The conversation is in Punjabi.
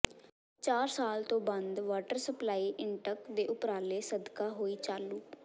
ਚਾਰ ਸਾਲ ਤੋਂ ਬੰਦ ਵਾਟਰ ਸਪਲਾਈ ਇੰਟਕ ਦੇ ਉਪਰਾਲੇ ਸਦਕਾ ਹੋਈ ਚਾਲੂ